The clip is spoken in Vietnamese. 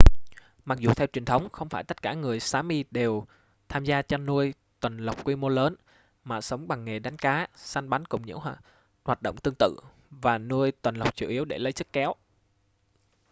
mặc dù theo truyền thống không phải tất cả người sámi đều tham gia chăn nuôi tuần lộc quy mô lớn mà sống bằng nghề đánh cá săn bắn cùng những hoạt động tương tự và nuôi tuần lộc chủ yếu để lấy sức kéo